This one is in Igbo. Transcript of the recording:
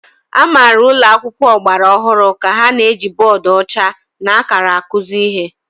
Amara ụlọ akwụkwọ ọgbara ọhụrụ ka ha na-eji bọọdụ ọcha na akara akụzi ihe.